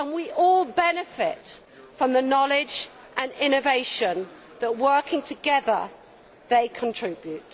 We all benefit from the knowledge and innovation that, working together, they contribute.